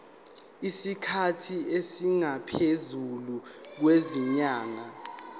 isikhathi esingaphezulu kwezinyanga